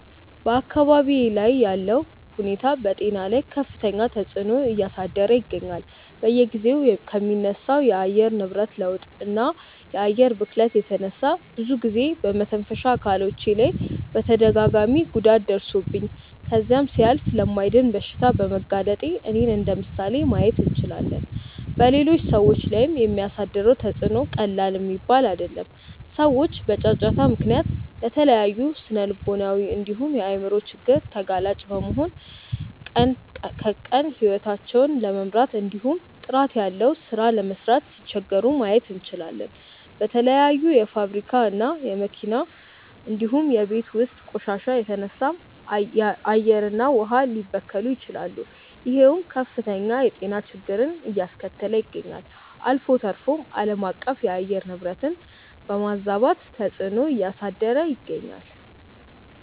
በአካባብዬ ላይ ያለው ሁኔታ በጤና ላይ ከፍተኛ ተፅዕኖ እያሳደረ ይገኛል። በየጊዜው ከሚነሳው የአየር ንብረት ለውጥ እና የአየር ብክለት የተነሳ ብዙ ጊዜ በመተንፈሻ አካሎቼ ላይ ተደጋጋሚ ጉዳት ደርሶብኝ ከዛም ሲያልፍ ለማይድን በሽታ በመጋለጤ እኔን እንደምሳሌ ማየት እንችላለን። በሌሎች ሰዎች ላይም የሚያሳድረው ተፅዕኖ ቀላል የሚባል አይደለም። ሰዎች በጫጫታ ምክንያት ለተለያዩ ስነልቦናዊ እንዲሁም የአይምሮ ችግር ተጋላጭ በመሆን ቀን ከቀን ሂወታቸውን ለመምራት እንዲሁም ጥራት ያለው ሥራ ለመስራት ሲቸገሩ ማየት እንችላለን። በተለያዩ የፋብሪካ እና የመኪና እንዲሁም የቤት ውስጥ ቆሻሻ የተነሳም አየር እና ውሃ ሊበከሉ ይችላሉ ይሄውም ከፍተኛ የጤና ችግርን አያስከተለ ይገኛል። አልፎ ተርፎም አለማቀፍ የአየር ንብረትን በማዛባት ተፅዕኖ እያሳደረ ይገኛል።